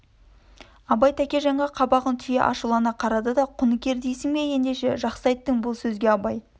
абай тәкежанға қабағын түйе ашулана қарады да құныкер дейсің бе ендеше жақсы айттың бұл сөзге абай